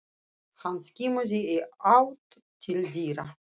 Hann skimaði í átt til dyra.